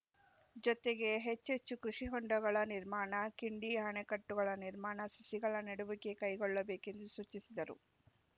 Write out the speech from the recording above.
ಜೊತೆಗೆ ಹೆಚ್ಚೆಚ್ಚು ಕೃಷಿ ಹೊಂಡಗಳ ನಿರ್ಮಾಣ ಕಿಂಡಿ ಅಣೆಕಟ್ಟುಗಳ ನಿರ್ಮಾಣ ಸಸಿಗಳ ನೆಡುವಿಕೆ ಕೈಗೊಳ್ಳಬೇಕೆಂದು ಸೂಚಿಸಿದರು